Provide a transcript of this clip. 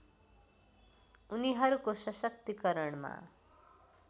उनीहरूको सशक्तिकरणमा